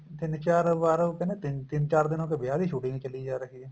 ਤਿੰਨ ਚਾਰ ਵਾਰ ਹੋ ਗਏ ਨਾ ਤਿੰਨ ਚਾਰ ਦਿਨਾ ਤੋਂ ਵਿਆਹ ਦੀ shooting ਈ ਚੱਲੀ ਜਾ ਰਹੀ ਏ